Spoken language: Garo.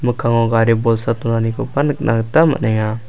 mikkango gari bolsa donanikoba nikna gita man·enga.